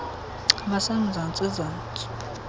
base mzantsi zantsi